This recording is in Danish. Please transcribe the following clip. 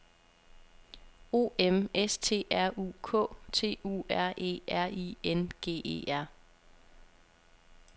O M S T R U K T U R E R I N G E R